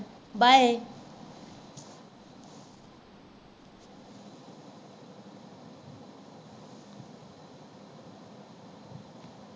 bye